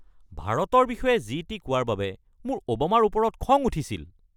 ভাৰতৰ বিষয়ে যি টি কোৱাৰ বাবে মোৰ অ’বামাৰ ওপৰত খং উঠিছিল।